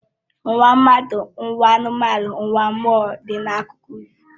Ụwa mmadụ, ụwa anụmanụ na ụwa mmụọ dị n'akụkọ ifo